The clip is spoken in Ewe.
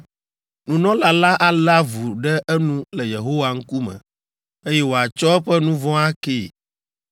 Nunɔla la alé avu ɖe enu le Yehowa ŋkume, eye wòatsɔ eƒe nu vɔ̃ akee.